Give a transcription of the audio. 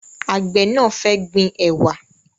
Àgbẹ̀ náà fẹ́ gbin ẹ̀wà